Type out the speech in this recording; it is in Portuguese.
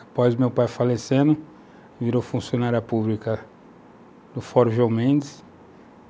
Após meu pai falecendo, virou funcionária pública do Fórum João Mendes.